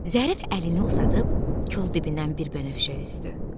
Zərif əlini uzadıb kol dibindən bir bənövşə üzdü.